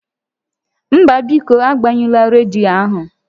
Mba, biko agbanyụla rediyo ahụ